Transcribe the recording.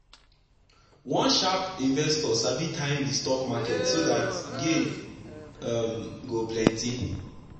one sharp investor sabi time the stock market so that gain um go plenty. um